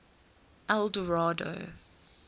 eldorado